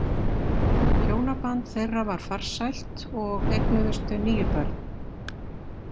Hjónaband þeirra var farsælt og eignuðust þau níu börn.